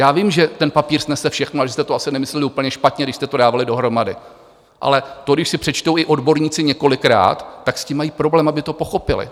Já vím, že ten papír snese všechno a že jste to asi nemysleli úplně špatně, když jste to dávali dohromady, ale to když si přečtou i odborníci několikrát, tak s tím mají problém, aby to pochopili.